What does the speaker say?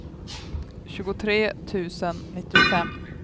tjugotre tusen nittiofem